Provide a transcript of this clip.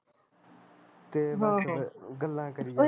ਤੇ ਬਸ ਫਿਰ ਗਲਾਂ ਕਰੀ ਜਵੇ